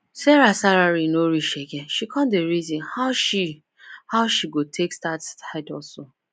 sarah salary no reach again she come dey reason how she how she go take start side hustle